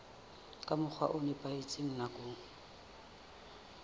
ka mokgwa o nepahetseng nakong